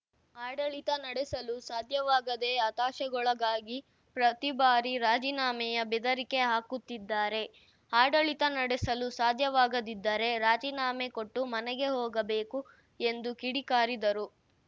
ಆಡಳಿತ ನಡೆಸಲು ಸಾಧ್ಯವಾಗದೆ ಹತಾಶೆಗೊಳಗಾಗಿ ಪ್ರತಿಬಾರಿ ರಾಜೀನಾಮೆಯ ಬೆದರಿಕೆ ಹಾಕುತ್ತಿದ್ದಾರೆ ಆಡಳಿತ ನಡೆಸಲು ಸಾಧ್ಯವಾಗದಿದ್ದರೆ ರಾಜೀನಾಮೆ ಕೊಟ್ಟು ಮನೆಗೆ ಹೋಗಬೇಕು ಎಂದು ಕಿಡಿಕಾರಿದರು